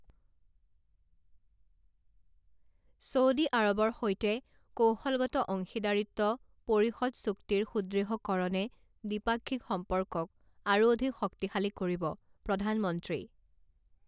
Saudi আৰৱৰ সৈতে কৌশলগত অংশীদাৰিত্ব পৰিষদ চুক্তিৰ সুদৃঢ়কৰণে দ্বিপাক্ষিক সম্পৰ্কক আৰু অধিক শক্তিশালী কৰিবঃ প্ৰধানমন্ত্ৰী